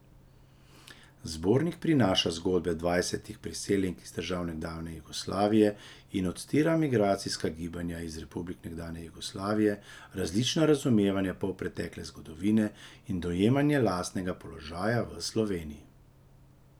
Zbornik prinaša zgodbe dvajsetih priseljenk iz držav nekdanje Jugoslavije in odstira migracijska gibanja iz republik nekdanje Jugoslavije, različna razumevanja polpretekle zgodovine in dojemanje lastnega položaja v Sloveniji.